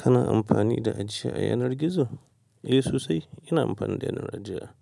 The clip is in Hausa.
Kana amfani da ajiya a yanar gizo? Eh sosai. Ina amfani da yanar ajiya